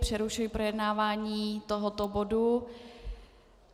Přerušuji projednávání tohoto bodu.